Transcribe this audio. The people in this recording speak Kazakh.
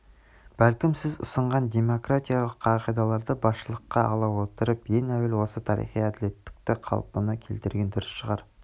бәлкім сіз ұсынған демократиялық қағидаларды басшылыққа ала отырып ең әуел осы тарихи әдлеттілікті қалпына келтірген дұрыс шығар